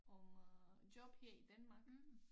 Om øh job her i Danmark